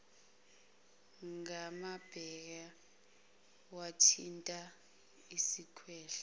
ngamabheka wathinta isikhwehlela